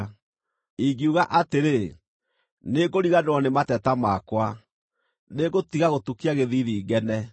Ingiuga atĩrĩ, ‘Nĩngũriganĩrwo nĩ mateta makwa, nĩngũtiga gũtukia gĩthiithi, ngene,’